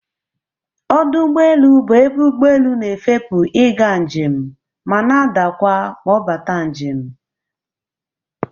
Ọdụ ụgbọelu bụ ebe ụgbọelu na-efepu ị ga njem ma na-adakwa ma ọ bata njem.